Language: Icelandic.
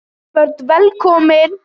Öll börn velkomin.